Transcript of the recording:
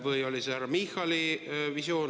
Või oli see härra Michali visioon?